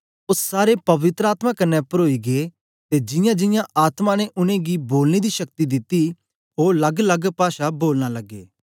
ओ सारे पवित्र आत्मा कन्ने परोई गै ते जियांजियां आत्मा ने उनेंगी बोलने दी शक्ति दिती ओ लग्गलग्ग पाषा बोलन लगे